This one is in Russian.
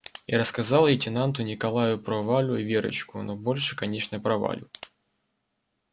и рассказал лейтенанту николаю про валю и верочку но больше конечно про валю